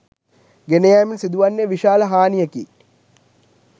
ගෙන යෑමෙන් සිදු වන්නේ විශාල හානියකි